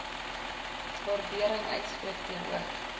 waardering uitspreek teenoor